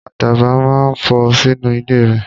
Àdàbà náà fò sínú ilé rẹ